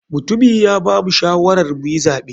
Mutumi ya bamu shawarar muyi zaɓe.